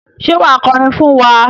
Ṣé wà á kọrin fún wa?